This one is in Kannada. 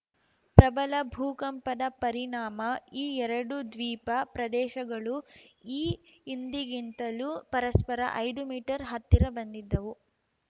ಪ್ರಬಲ ಭೂಕಂಪದ ಪರಿಣಾಮ ಈ ಎರಡೂ ದ್ವೀಪ ಪ್ರದೇಶಗಳು ಈ ಹಿಂದಿಗಿಂತಲೂ ಪರಸ್ಪರ ಐದು ಮೀಟರ್‌ ಹತ್ತಿರ ಬಂದಿದ್ದವು